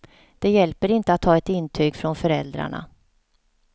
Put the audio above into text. Det hjälper inte att ha ett intyg från föräldrarna.